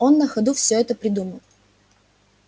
он на ходу всё это придумал